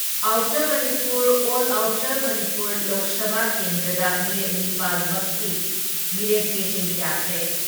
Outer Manipur or outer Manipur Lok Sabha ꯀꯦꯟꯗ꯭ꯔꯗ ꯃꯤꯔꯦꯞ ꯅꯤꯄꯥꯜ ꯃꯛꯀꯤ ꯃꯤꯔꯦꯞꯆꯦꯁꯤꯡ ꯌꯥꯈ꯭ꯔꯦ ꯫